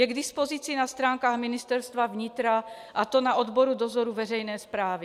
Je k dispozici na stránkách Ministerstva vnitra, a to na odboru dozoru veřejné správy.